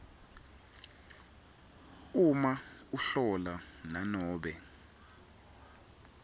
uma ahlola nanobe